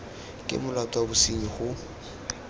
ke molato wa bosenyi go